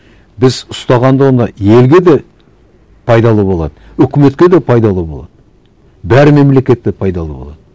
біз ұстағанда оны елге де пайдалы болады үкіметке де пайдалы болады бар мемлекетке пайдалы болады